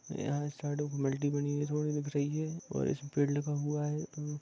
यह एक साइड में मल्टी बनी है थोड़ी दिख रही है और उस पेड़ लगा हुआ है।